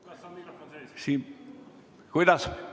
Kas on mikrofon sees?